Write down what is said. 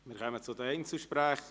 Wir kommen zu den Einzelsprechern.